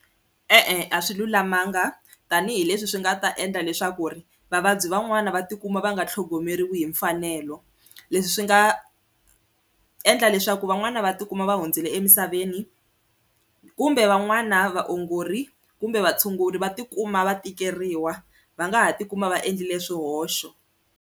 E-e a swi lulamanga tanihileswi swi nga ta endla leswaku ri vavabyi van'wani va tikuma va nga tlhogomeriwi hi mfanelo leswi swi nga endla leswaku ku van'wani va tikuma va hundzile emisaveni kumbe van'wana vaongori kumbe vatshunguri va tikuma va tikeriwa va nga ha tikuma va endlile swihoxo.